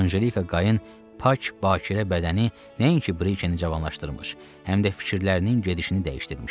Anjelika Qayın pak, bakirə bədəni nəinki Briçeni cavanlaşdırmış, həm də fikirlərinin gedişini dəyişdirmişdi.